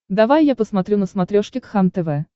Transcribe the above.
давай я посмотрю на смотрешке кхлм тв